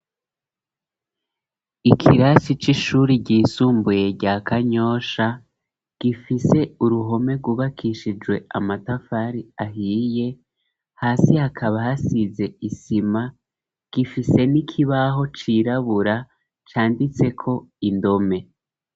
Ikirasi c'ishuri ry'isumbuye rya kanyosha, gifise uruhome rwubakishijwe amatafari ahiye ,hasi hakaba hasize isima, gifise n'ikibaho cirabura canditse ko indome.